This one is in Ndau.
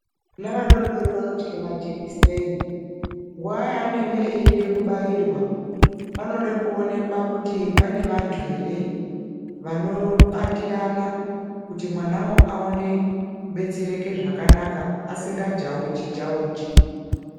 Vana vadodori vanotya majekiseni. Nguwa yaanenge eida kubairwa ,panode kuonekwa kuti pane vanthu ere vanobatirana kuti mwanawo aone kubetsereka zvakanaka asingajauji jauji.